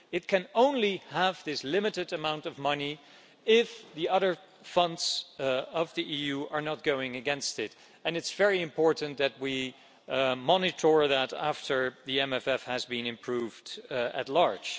It can only have this limited amount of money if the other EU funds are not going against it, and it's very important that we monitor that after the MFF has been improved at large.